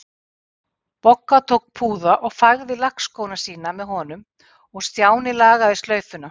Bogga tók púða og fægði lakkskóna sína með honum og Stjáni lagaði slaufuna.